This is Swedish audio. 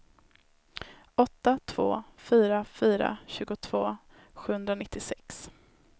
åtta två fyra fyra tjugotvå sjuhundranittiosex